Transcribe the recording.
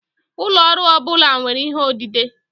Ụlọ ọrụ ọ bụla nwere ihe odide.